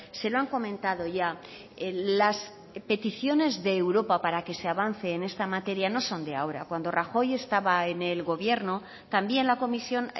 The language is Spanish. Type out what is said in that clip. se lo han comentado ya las peticiones de europa para que se avance en esta materia no son de ahora cuando rajoy estaba en el gobierno también la comisión